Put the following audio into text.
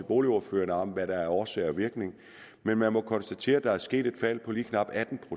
boligordførerne om hvad der er årsag og virkning men man må konstatere at der er sket et fald på lige knap atten